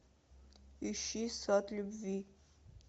ищи сад любви